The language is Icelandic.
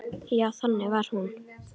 Já, þannig var hún.